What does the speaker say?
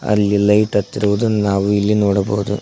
ಅಲ್ಲಿ ಲೈಟ್ ಹತ್ತಿರುವುದು ನಾವು ಇಲ್ಲಿ ನೋಡಬಹುದು.